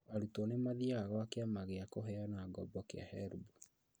Arutwo nĩmathiaga gwa kĩama gĩa kũheana ngoombo kĩa HELB